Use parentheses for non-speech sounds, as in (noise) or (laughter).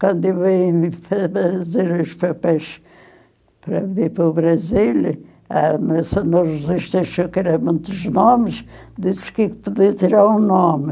Quando eu vim fa fazer os papéis para vir para o Brasil, a (unintelligible) achou que era muitos nomes, disse que podia tirar um nome.